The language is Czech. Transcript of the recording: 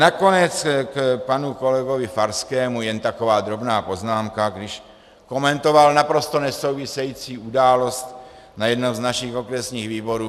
Nakonec k panu kolegovi Farskému jen taková drobná poznámka, když komentoval naprosto nesouvisející událost na jednom z našich okresních výborů.